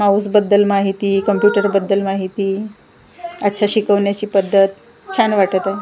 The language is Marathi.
माऊस बद्दल माहिती कम्प्युटर बद्दल माहिती अच्छा शिकवण्याची पद्धत छान वाटत आहे.